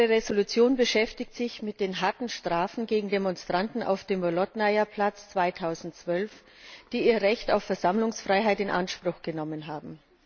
Unsere Entschließung beschäftigt sich mit den harten Strafen gegen Demonstranten auf dem Bolotnaja Platz 2012, die ihr Recht auf Versammlungsfreiheit in Anspruch genommen haben.